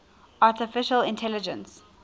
artificial intelligence